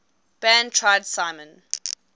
band tried simon